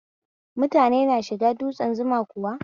Mutane na shiga dutsen Zuma kuwa?